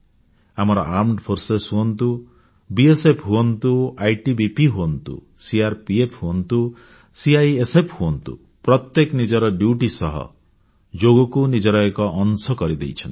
ଆମର ସେନା ବାହିନୀ ହୁଅନ୍ତୁ ବିଏସଏଫ୍ ହୁଅନ୍ତୁ ଆଇଟିବିପି ହୁଅନ୍ତୁ ସିଆରପିଏଫ୍ ହୁଅନ୍ତୁ ସିଆଇଏସଏଫ୍ ହୁଅନ୍ତୁ ପ୍ରତ୍ୟେକେ ନିଜର ଡ୍ୟୁଟି ସହ ଯୋଗକୁ ନିଜର ଏକ ଅଂଶ କରି ଦେଇଛନ୍ତି